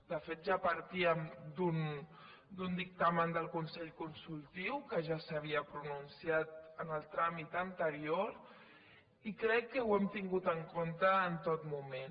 de fet ja partíem d’un dictamen del consell consultiu que ja s’havia pronunciat en el tràmit anterior i crec que ho hem tingut en compte en tot moment